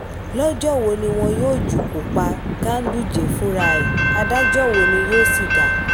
lọ́jọ́ wo ni wọn yóò jukọ́ pa ganduje fúnra ẹ̀ adájọ́ wo ni yóò sì dá a